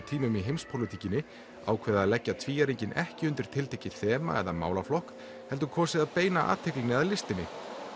tímum í heimspólitíkinni ákveðið að leggja ekki undir tiltekið þema eða málaflokk heldur kosið að beina athyglinni að listinni